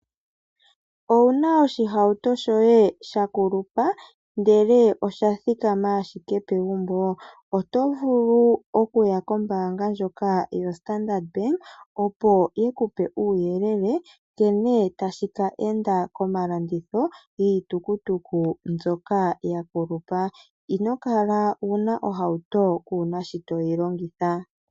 Owuna oshihauto shoye sha kulupa ndele oshathikama ashike pegumbo? Oto vulu okuya kombaanga ndjoka yoStandard Bank, opo yi kupe uuyelele nkene tashi keenda komalanditho giitukutuku mbyoka ya kulupa. Ino kala wuna ohauto kuuna sho toyi longitha.